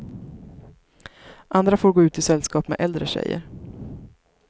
Andra får gå ut i sällskap med äldre tjejer.